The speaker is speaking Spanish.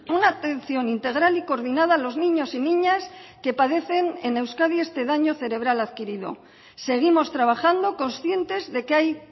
una atención integral y coordinada a los niños y niñas que padecen en euskadi este daño cerebral adquirido seguimos trabajando conscientes de que hay